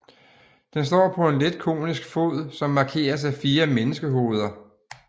Den står på en let konisk fod som markeres af fire menneskehoveder